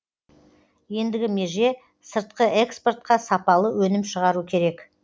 ендігі меже сыртқы экспортқа сапалы өнім шығару керек